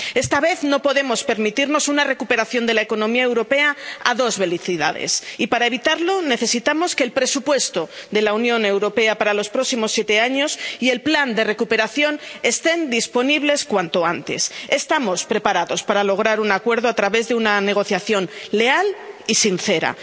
Esta vez no podemos permitirnos una recuperación de la economía europea a dos velocidades, y para evitarlo necesitamos que el presupuesto de la Unión Europea para los próximos siete años y el plan de recuperación estén disponibles cuanto antes. Estamos preparados para lograr un acuerdo a través de una negociación leal y sincera.